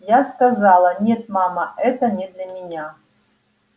я сказала нет мама это не для меня